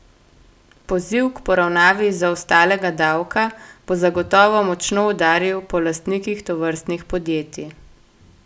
Poziv k poravnavi zaostalega davka bo zagotovo močno udaril po lastnikih tovrstnih podjetij.